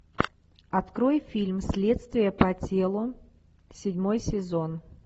открой фильм следствие по телу седьмой сезон